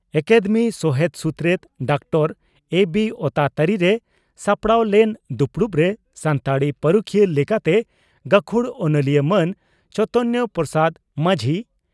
academy ᱥᱚᱦᱮᱛ ᱥᱩᱛᱨᱮᱛ doctor ᱮᱹᱵᱤᱹ ᱳᱛᱟ ᱛᱟᱹᱨᱤᱨᱮ ᱥᱟᱯᱲᱟᱣ ᱞᱮᱱ ᱫᱩᱯᱲᱩᱵᱨᱮ ᱥᱟᱱᱛᱟᱲᱤ ᱯᱟᱹᱨᱩᱠᱷᱤᱭᱟᱹ ᱞᱮᱠᱟᱛᱮ ᱜᱟᱹᱠᱷᱩᱲ ᱚᱱᱚᱞᱤᱭᱟᱹ ᱢᱟᱱ ᱪᱚᱭᱛᱚᱱᱯᱨᱚᱥᱟᱫᱽ ᱢᱟᱹᱡᱷᱤ